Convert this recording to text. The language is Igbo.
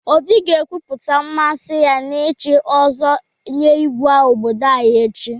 Obi ga-ekwupụta mmasị ya n'ichi ọzọ nye Igwe obodo anyị echi.